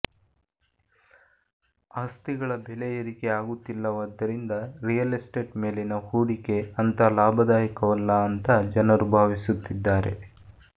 ಆಸ್ತಿಗಳ ಬೆಲೆ ಏರಿಕೆ ಆಗುತ್ತಿಲ್ಲವಾದ್ದರಿಂದ ರಿಯಲ್ ಎಸ್ಟೇಟ್ ಮೇಲಿನ ಹೂಡಿಕೆ ಅಂಥ ಲಾಭದಾಯಕವಲ್ಲ ಅಂತ ಜನರು ಭಾವಿಸುತ್ತಿದ್ದಾರೆ